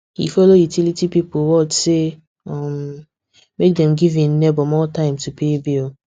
he follow utility people word say um make dem give hin neighbor more time to pay bill